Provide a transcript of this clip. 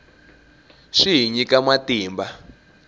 swi hi nyika matimba